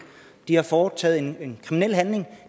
de har foretaget en kriminel handling